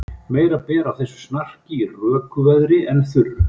Meira ber á þessu snarki í röku veðri en þurru.